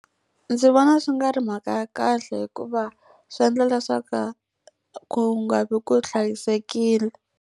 Ndzi vona swi nga ri mhaka ya kahle hikuva swi endla leswaku ku nga vi ku hlayisekile.